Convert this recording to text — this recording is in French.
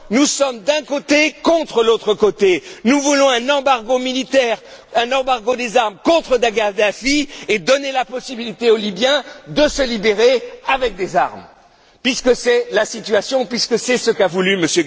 Non, nous sommes d'un côté contre l'autre côté, nous voulons un embargo militaire, un embargo des armes contre Kadhafi et donner la possibilité aux Libyens de se libérer avec des armes puisque c'est la situation, puisque c'est ce qu'a voulu M.